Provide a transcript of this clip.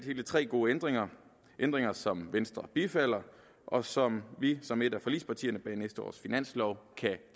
hele tre gode ændringer ændringer som venstre bifalder og som vi som et af forligspartierne bag næste års finanslov kan